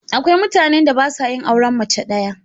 Akwai mutanen da ba sa yin auren mace ɗaya.